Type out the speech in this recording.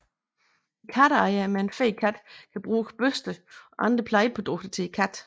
En katteejer med en fed kat kan bruge børster og andre plejeprodukter til katten